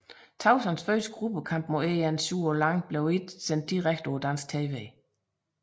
Tauson første gruppekamp mod En Shuo Liang blev ikke sendt direkte på dansk tv